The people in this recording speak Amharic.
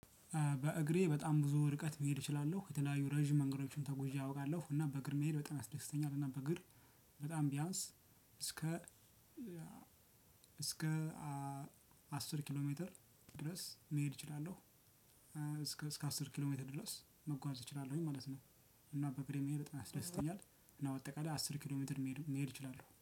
በእግሬ በጣም ብዙ ርቀት መሄድ እችላለሁ የተለያዩ ረጅም መንገዶችን ተጉዤ አውቃለሁ እና በእግር መሄድ በጣም ያስደስተኛል። እና በእግር በጣም ቢያንስ እስከ እስከ አስር ኪሎ ሜትር ድረስ መሄድ እችላለሁ እስከ አስር ኪሎ ሜትር ድረስ መጓዝ እችላለሁኝ ማለት ነው። እና በግሬ መሄድ ያስደስተኛል እና በአጠቃላይ አስር ኪሎ ሜትር መሄድ እችላለሁ